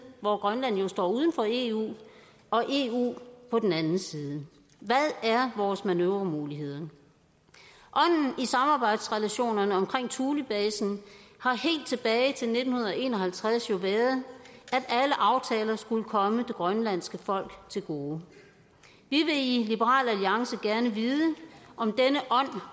hvor grønland jo står uden for eu og eu på den anden side hvad er vores manøvremuligheder ånden i samarbejdsrelationerne omkring thulebasen har helt tilbage til nitten en og halvtreds jo været at skulle komme det grønlandske folk til gode vi vil i liberal alliance gerne vide om denne